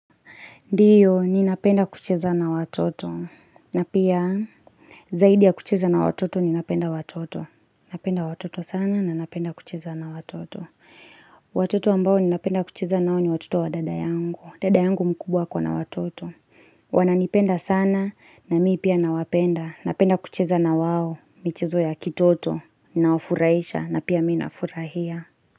Ndiyo, ninapenda kucheza na watoto. Na pia, zaidi ya kucheza na watoto, ninapenda watoto. Napenda watoto sana, na napenda kucheza na watoto. Watoto ambao ni napenda kucheza nao ni watoto wa dada yangu. Dada yangu mkubwa yuko na watoto. Wananipenda sana, na mi pia na wapenda. Napenda kucheza na wao, michezo ya kitoto. Ninaofuraisha, na pia mina furahia.